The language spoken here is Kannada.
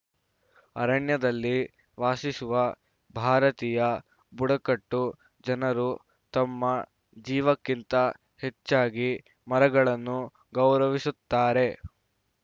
ಅರಣ್ಯದಲ್ಲಿ ವಾಸಿಸುವ ಭಾರತೀಯ ಬುಡಕಟ್ಟು ಜನರು ತಮ್ಮ ಜೀವಕ್ಕಿಂತ ಹೆಚ್ಚಾಗಿ ಮರಗಳನ್ನು ಗೌರವಿಸುತ್ತಾರೆ